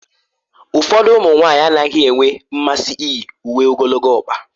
Ụfọdụ ụmụ nwanyị anaghị enwe mmasị iyi uwe ogologo ọkpa